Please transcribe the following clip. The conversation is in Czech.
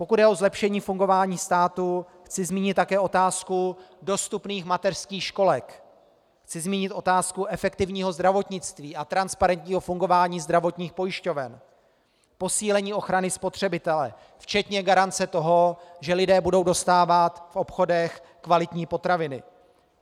Pokud jde o zlepšení fungování státu, chci zmínit také otázku dostupných mateřských školek, chci zmínit otázku efektivního zdravotnictví a transparentního fungování zdravotních pojišťoven, posílení ochrany spotřebitele včetně garance toho, že lidé budou dostávat v obchodech kvalitní potraviny.